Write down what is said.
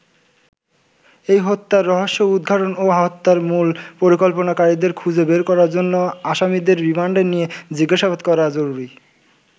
এই হত্যার রহস্য উদঘাটন ও হত্যার মূল পরিকল্পনাকারীদের খুঁজে বের করার জন্য আসামিদের রিমান্ডে নিয়ে জিজ্ঞাসাবাদ করা জরুরি।